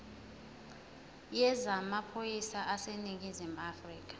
yezamaphoyisa aseningizimu afrika